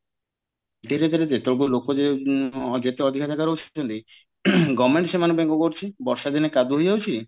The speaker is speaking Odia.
ଧୀରେ ଧୀରେ ଲୋକାଜେ ଯେତେଅଧିକ ରେ ରହୁଛନ୍ତି government ସେମାନନକ ପାଇଁ କଣ କରୁଚି ବର୍ଷା ଦିନେ କାଦୁଅ ହେଇଯାଉଛି